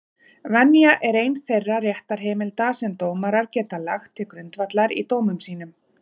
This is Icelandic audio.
Venja er ein þeirra réttarheimilda sem dómarar geta lagt til grundvallar í dómum sínum.